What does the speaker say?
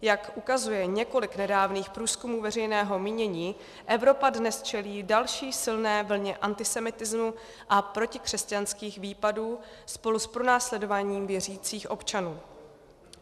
Jak ukazuje několik nedávných průzkumů veřejného mínění, Evropa dnes čelí další silné vlně antisemitismu a protikřesťanských výpadů spolu s pronásledováním věřících občanů.